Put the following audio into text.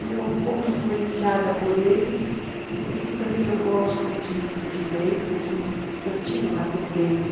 Eu, um pouco influenciada por eles e porque também eu gosto de de leis, eu tinha uma tendência